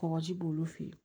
Kɔgɔji b'olu fɛ yen